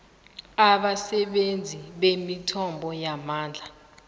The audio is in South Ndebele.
abasebenzisi bemithombo yamandla